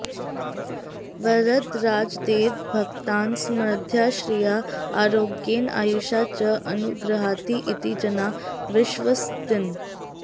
वरदराजदेवः भक्तान् समृद्ध्या श्रिया आरोग्येण आयुषा च अनुगृह्णाति इति जनाः विश्वसन्ति